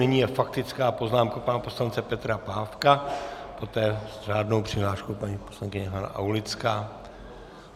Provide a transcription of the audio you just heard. Nyní je faktická poznámka pana poslance Petra Pávka, poté s řádnou přihláškou paní poslankyně Hana Aulická.